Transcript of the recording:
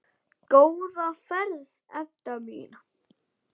Góða ferð, Edda mín.